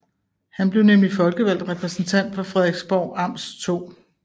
Han blev nemlig folkevalgt repræsentant for Frederiksborg Amts 2